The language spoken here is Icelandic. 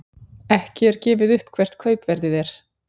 Ekki er gefið upp hvert kaupverðið er.